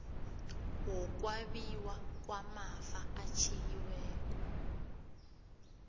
wokwabiwa kwamafa atjhiyiweko